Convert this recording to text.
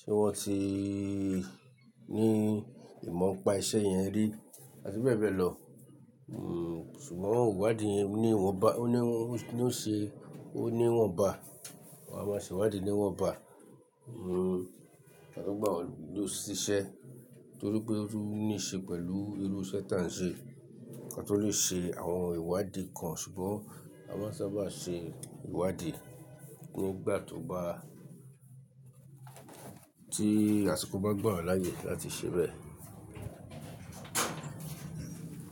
Ṣé wọ́n ti ní ìmọ̀ npa iṣẹ́ yẹn rí? Àti bẹ́ẹ̀ bẹ́ẹ̀ lọ. Hm, ṣùgbọ́n ìwádìí yẹn ni wọ́n ba, ó ní wọ́n, ni ó ṣe, ó ni wọ́n bá. Wọn a máa ṣèwádìí ni wọ́n bá. Hm, kín to gbà wọ́n ṣiṣẹ́ torí pé ó níṣe pẹ̀lú irú iṣẹ́ tá ń ṣe. Ọ̀kan tó lè ṣe àwọn ìwádìí kan ṣùgbọ́n a máa sábà ṣe ìwádìí kí ó gbà tó bá tí àsìkò bá gbọ̀wán láyè láti ṣe bẹ́ẹ̀.